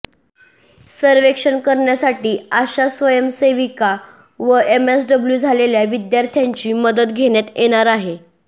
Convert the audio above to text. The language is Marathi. सर्वेक्षण करण्यासाठी आशा स्वयंसेविका व एमएसडब्ल्यू झालेल्या विद्यार्थ्यांची मदत घेण्यात येणार आहे